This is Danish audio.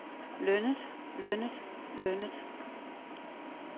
lønnet lønnet lønnet